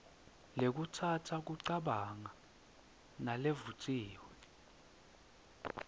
lekhutsata kucabanga nalevutsiwe